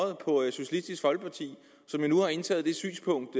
socialistisk folkeparti som nu har indtaget det synspunkt